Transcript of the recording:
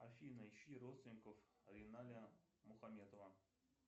афина ищи родственников риналя мухаметова